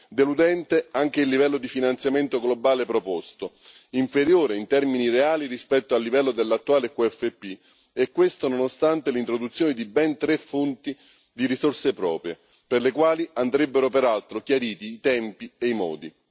Deludente anche il livello di finanziamento globale proposto, inferiore in termini reali rispetto al livello dell'attuale QFP, e questo nonostante l'introduzione di ben tre fonti di risorse proprie, per le quali andrebbero peraltro chiariti i tempi e i modi.